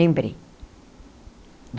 Lembrei.